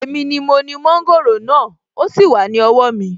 Èmi ni mo ni mọ́ńgòrò náà, ó sì wà ní owó mi